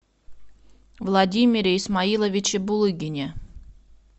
владимире исмаиловиче булыгине